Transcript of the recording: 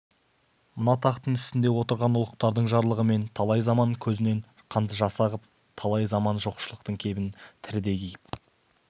осы тақтың үстінде отырған ұлықтардың жарлығымен талай заман көзіңнен қанды жас ағып талай заман жоқшылықтың кебінін тірідей киіп